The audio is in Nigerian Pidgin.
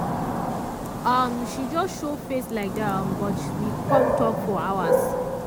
um she just show face like dat um but we com talk for hours.